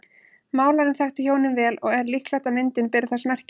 Málarinn þekkti hjónin vel og er líklegt að myndin beri þess merki.